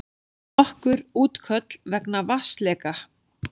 Nokkur útköll vegna vatnsleka